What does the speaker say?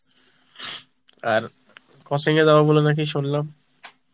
আর coaching এ যাবো বললে নাকি সুনলাম